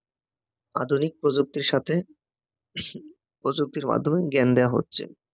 আধুনিক প্রযুক্তির সাথে প্রযুক্তির মাধ্যমে জ্ঞান দেওয়া হচ্ছে